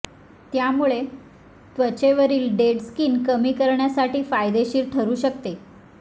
त्यामुळे त्वचेवरील dead skin कमी करण्यासाठी फायदेशीर ठरू शकते